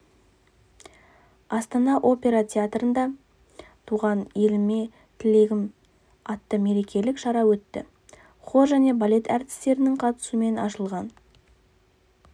астана опера театрында туған еліме тілегім атты мерекелік шара өтті хор және балет әртістерінің қатысуымен ашылған